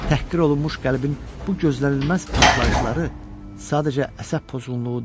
Təhqir olunmuş qəlbin bu gözlənilməz partlayışları sadəcə əsəb pozğunluğu deyil.